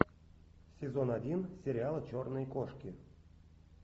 сезон один сериала черные кошки